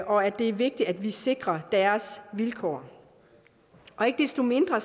og at det er vigtigt at vi sikrer deres vilkår ikke desto mindre